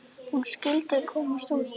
Hún skyldi komast út!